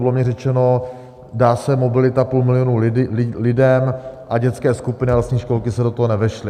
Bylo mi řečeno: Dá se mobilita půl milionu lidem a dětské skupiny a lesní školky se do toho nevešly.